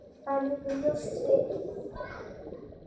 Það liggur ljóst fyrir.